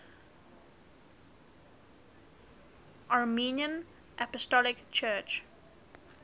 armenian apostolic church